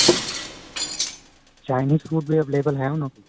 Chinese food ਵੀ available ਹੈ ਉਹਨਾ ਕੋਲ